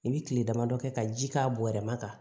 I bi kile dama dɔ kɛ ka ji k'a bɔrɛ ma